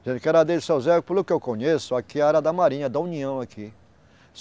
Dizendo que era dele, seu Zé, pelo que eu conheço, aqui é área da Marinha, da União aqui.